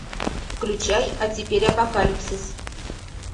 включай а теперь апокалипсис